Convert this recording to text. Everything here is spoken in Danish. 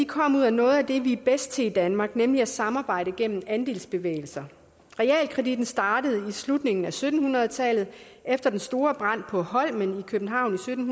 kom ud af noget af det vi er bedst til i danmark nemlig at samarbejde gennem andelsbevægelser realkreditten startede i slutningen af sytten hundrede tallet efter den store brand på holmen i københavn i sytten